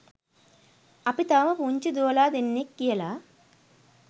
අපි තවම පුංචි දුවලා දෙන්නෙක් කියලා